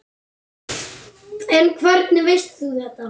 En hvernig veist þú þetta?